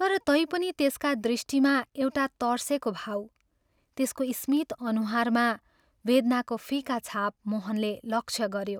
तर तैपनि त्यसका दृष्टिमा एउटा तर्सेको भाव, त्यसको स्मित अनुहारमा वेदनाको फिका छाप मोहनले लक्ष्य गऱ्यो।